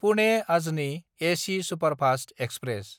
पुने–आजनि एसि superfast express